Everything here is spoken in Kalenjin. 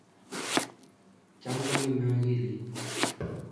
Cham kongeme akilit.